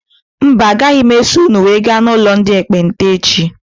Mba agaghị m eso ụnụ wee gaa n' ụlọ ndị ekpenta echi.